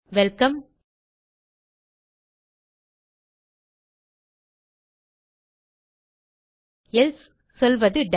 welcome else சொல்வது tie